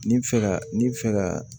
Ni bɛ fɛ ka ni bɛ fɛ ka